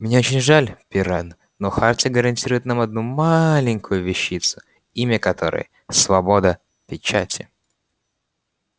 мне очень жаль пиренн но хартия гарантирует нам одну маленькую вещицу имя которой свобода печати